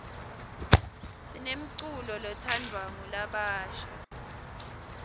sinemculo letsandvwa ngulabasha